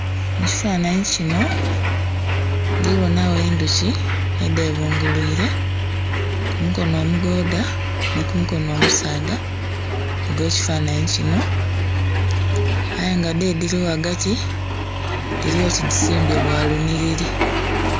Mu kifanhanhi kinho ndhibonhagho endhuki edhebunguliire ku mukono omugoodha ni ku mukono omusaadha ogw'ekifanhanhi kinho ayenga dho edhili ghagati, dhili oti dhisimbye bwa lunhilili.